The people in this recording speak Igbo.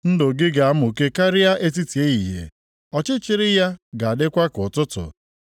Ndụ gị ga-amụke karịa etiti ehihie, ọchịchịrị ya ga-adịkwa ka ụtụtụ.